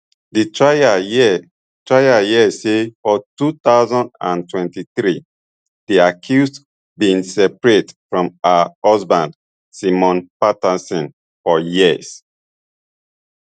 di trial hear trial hear say for two thousand and twenty-three di accused bin separate from her husband simon patterson for years